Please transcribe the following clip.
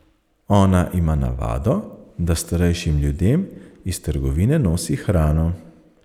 Ona ima navado, da starejšim ljudem iz trgovine nosi hrano.